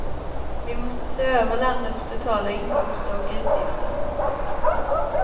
Vi måste se över landets totala inkomster och utgifter.